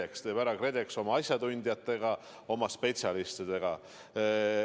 Selle teeb ära KredEx oma asjatundjatega, oma spetsialistidega.